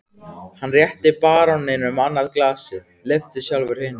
Hann rétti baróninum annað glasið, lyfti sjálfur hinu.